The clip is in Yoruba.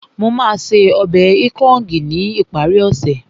Mo máa ṣe ọbẹ̀ ikong ní ìparí ọ̀sẹ̀